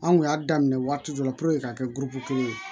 Anw kun y'a daminɛ waati dɔ la k'a kɛ kelen ye